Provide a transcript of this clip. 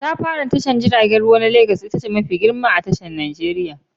Katafaren tashar jiragen ruwa na Legas ita ce tashar ruwa mafi girma a Nijeriya.